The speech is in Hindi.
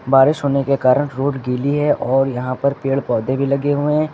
बारिश होने के कारण रोड गीली है और यहां पर पेड़ पौधे भी लगे हुए हैं।